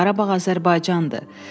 Qarabağ Azərbaycandır.